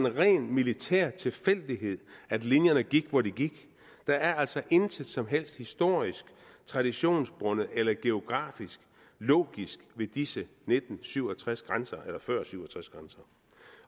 en ren militær tilfældighed at linjerne gik hvor de gik der er altså intet som helst historisk traditionsbundet eller geografisk logisk ved disse nitten syv og tres grænser eller før syv